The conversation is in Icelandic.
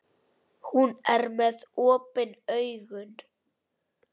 Hún er með opin augun.